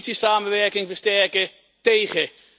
Politiesamenwerking versterken tegen.